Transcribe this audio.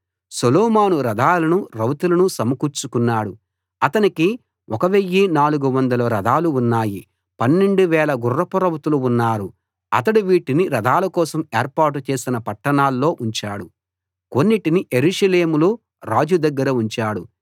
సొలొమోను రథాలను రౌతులను సమకూర్చుకున్నాడు అతనికి 1 400 రథాలు ఉన్నాయి 12000 గుర్రపురౌతులు ఉన్నారు అతడు వీటిని రథాల కోసం ఏర్పాటు చేసిన పట్టణాల్లోఉంచాడు కొన్నింటిని యెరూషలేములో రాజు దగ్గర ఉంచాడు